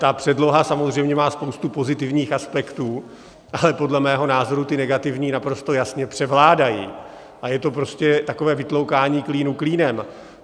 Ta předloha samozřejmě má spoustu pozitivních aspektů, ale podle mého názoru ty negativní naprosto jasně převládají a je to prostě takové vytloukání klínu klínem.